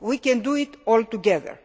We can do it all together.